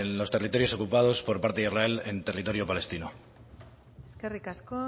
los territorios ocupados por parte de israel en territorio palestino eskerrik asko